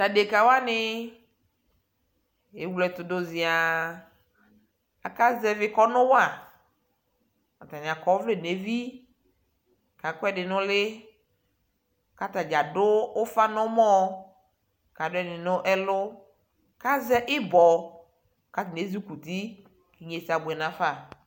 tʋ adɛka wani ɛwlɛtʋ ziaa, aka zɛvi kɔnʋ wa, atani akɔ ɔvlɛ nʋ ɛvi kʋ akɔ ɛdi nʋ ʋli kʋ atagya adʋ ʋƒa nʋ ɔmɔ kʋ adʋɛdini nʋ ɛlʋ kʋ azɛ ibɔ kʋ atani ɛzukʋti kʋ inyɛsɛ abʋɛ nʋ aƒa